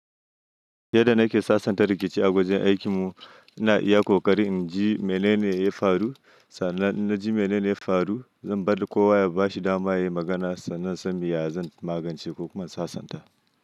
Yadda nake sasanta rikici a wajen aikinmu, ina iya ƙoƙari in ji mene ne ya faru. Sannan in ji mene ne ya faru, zan bari kowa ya bashi dama yayi magana sannan in san me ya zan magance ko kuma sasanta.